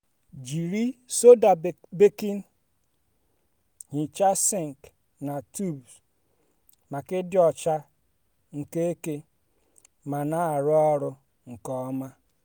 jiri soda baking hichaa sink na tubs maka ịdị ọcha nke eke ma na-arụ ọrụ nke ọma.